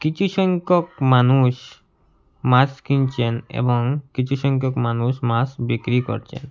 কিছু সংখ্যক মানুষ মাছ কিনছেন এবং কিছু সংখ্যক মানুষ মাছ বিক্রি করছেন।